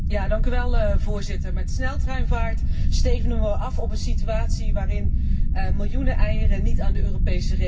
Met sneltreinvaart stevenen wij af op een situatie waarin miljoenen eieren niet aan de Europese regels zullen voldoen.